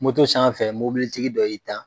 Moto san fɛ mɔbilitigi dɔ y'i tan.